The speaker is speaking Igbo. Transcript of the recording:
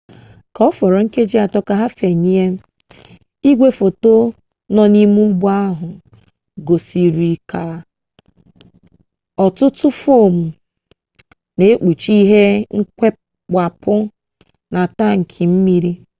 k'oforo nkeji 3 ka ha fenyie igwefoto no n'ime ugbo ahu gosirika otutu foam n'ekpuchi ihe kewapuru na tanki mmanu